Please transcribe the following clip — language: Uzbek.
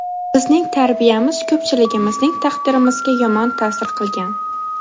Bizning tarbiyamiz ko‘pchiligimizning taqdirimizga yomon ta’sir qilgan.